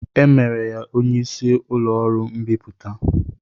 E mere ya onye isi ụlọọrụ mbipụta